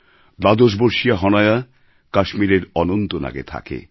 দ্বাদশবর্ষীয়া হনায়া কাশ্মীরের অনন্তনাগে থাকে